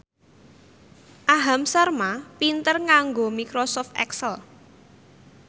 Aham Sharma pinter nganggo microsoft excel